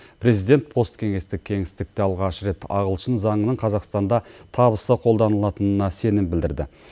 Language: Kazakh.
президент посткеңестік кеңістікте алғаш рет ағылшын заңының қазақстанда табысты қолданылатынына сенім білдірді